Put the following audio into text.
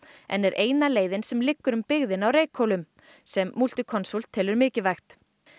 en er eina leiðin sem liggur um byggðina á Reykhólum sem Multiconsult telur mikilvægt